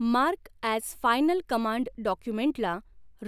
mark as final command डॉक्युमेंटला